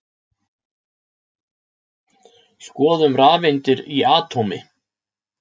Skoðum rafeindir í atómi.